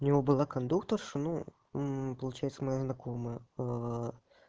у него было кондукторша ну получается моя знакомая